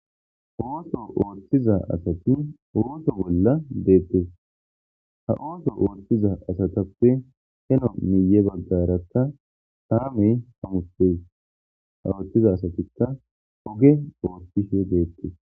Ooso ooththiza asati ooso bolla deettes ha ooso ooththiza asatappe heno miye baggarata taamey hamute a ooththiza asatikka oge oottishe deettes